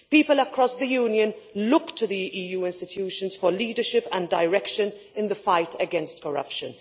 People across the Union look to the EU institutions for leadership and direction in the fight against corruption.